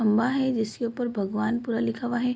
खंबा है जिसके ऊपर भगवान् पूरा लिखा हुआ है।